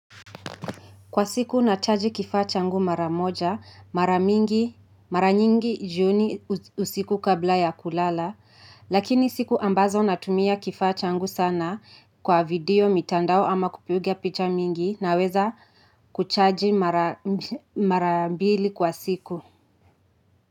Kwa siku nachaji kifaa changu maramoja, maranyingi jioni usiku kabla ya kulala, lakini siku ambazo natumia kifaa changu sana kwa video mitandao ama kupiga picha mingi naweza kuchaji marambili kwa siku.